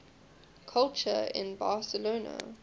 culture in barcelona